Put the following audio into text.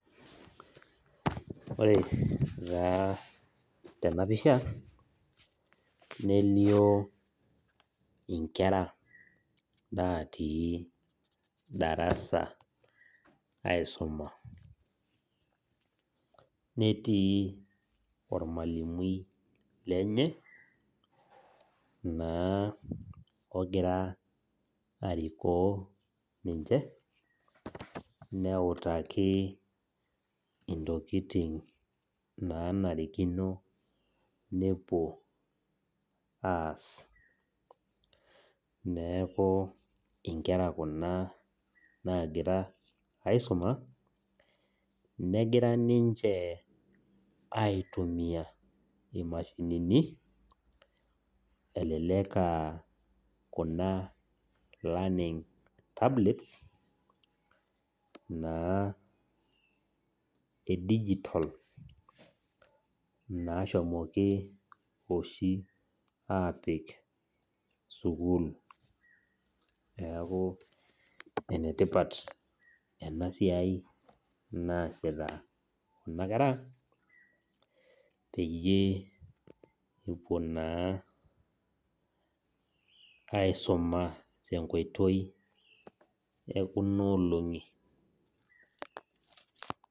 Ore taa tenapisha, nelio inkera natii darasa aisuma. Netii ormalimui lenye, naa ogira arikoo ninche, neutaki intokiting naanarikino nepuo aas. Neeku inkera kuna nagira aisuma, negira ninche aitumia imashinini, elelek ah kuna learning tablets, naa edijitol nashomoki oshi aapik sukuul. Neeku enetipat enasiai naasita kuna kera, peyie epuo aisuma tenkoitoi ekunoolong'i.